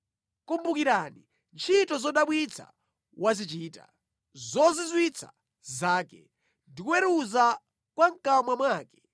Kumbukirani ntchito zodabwitsa wazichita, zozizwitsa zake, ndi kuweruza kwa mʼkamwa mwake,